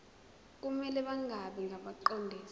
kumele bangabi ngabaqondisi